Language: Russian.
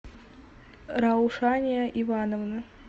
раушания ивановна